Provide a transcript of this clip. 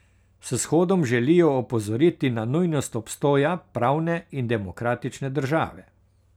S shodom želijo opozoriti na nujnost obstoja pravne in demokratične države.